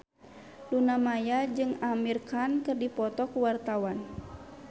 Luna Maya jeung Amir Khan keur dipoto ku wartawan